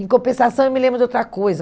Em compensação, eu me lembro de outra coisa.